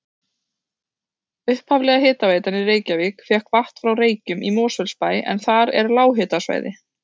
Upphaflega hitaveitan í Reykjavík fékk vatn frá Reykjum í Mosfellsbæ en þar er lághitasvæði.